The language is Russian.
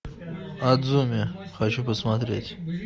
адзуми хочу посмотреть